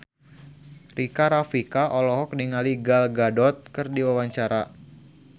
Rika Rafika olohok ningali Gal Gadot keur diwawancara